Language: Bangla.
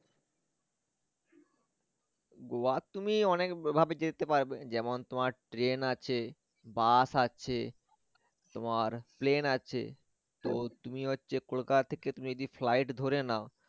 গোয়া তুমি অনেক ভ~ভাবে যেতে পারবে যেমন তোমর train আছে bus আছে তোমার plane আছে তো তুমি হচ্ছে কলকাতা থেকে তুমি যদি flight ধরে নাও